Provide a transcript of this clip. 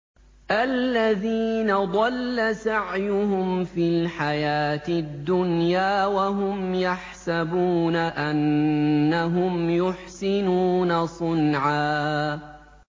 الَّذِينَ ضَلَّ سَعْيُهُمْ فِي الْحَيَاةِ الدُّنْيَا وَهُمْ يَحْسَبُونَ أَنَّهُمْ يُحْسِنُونَ صُنْعًا